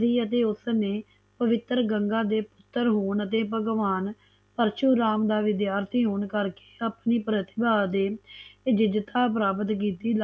ਤੇ ਉਸਨੇ ਪਵਿੱਤਰ ਗੰਗਾ ਦੇ ਪੁੱਤਰ ਹੋਣ ਅਤੇ ਭਗਵਾਨ ਪਰਸ਼ੂਰਾਮ ਦਾ ਵਿਦਿਆਰਥੀ ਹੋਣ ਕਰਕੇ ਆਪਣੀ ਪ੍ਰਤਿਭਾ ਅਤੇ ਜੀਜਕਾ ਪ੍ਰਾਪਤ ਕੀਤੀ